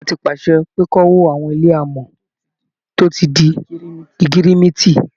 Ìjọba ti pàṣẹ pé kí wọ́n wó àwọn ilé alámọ̀ tó ti di ẹgẹrẹmìtì